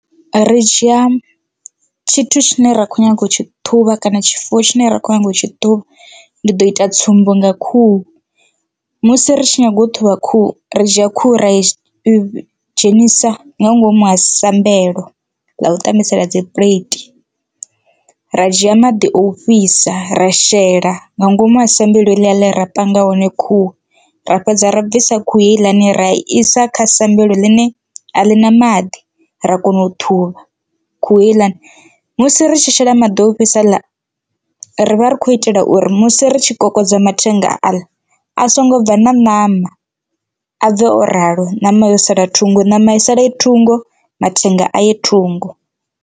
Ri dzhia tshithu tshine ra kho nyaga u tshi ṱhuvha kana tshifuwo tshine ra kho nyaga u tshi ṱhuvha ndi ḓo ita tsumbo nga khuhu. Musi ri tshi nyaga u ṱhuvha khuhu ri dzhia khuhu ra i dzhenisa nga ngomu ha sambelo ḽa u tambisela dzi puleithi, ra dzhia maḓi o fhisa ra shela nga ngomu ha sambelo heḽia ḽe ra panga hone khuhu ra fhedza ra bvisa khuhu heiḽani ra isa kha sambelo ḽine a ḽi na maḓi ra kona u ṱhuvha khuhu heiḽani. Musi ri tshi shela maḓi o fhisa haḽa ri vha ri khou itela uri musi ri tshi kokodza mathenga aḽa a songo bva na ṋama a bve o ralo ṋama yo sala thungo ṋama i saḽe thungo mathenga a ye thungo.